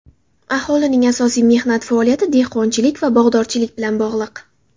Aholining asosiy mehnat faoliyati dehqonchilik va bog‘dorchilik bilan bog‘liq.